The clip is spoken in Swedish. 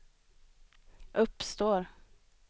uppstår